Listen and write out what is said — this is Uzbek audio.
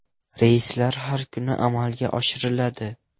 Reyslar har kuni amalga oshiriladi.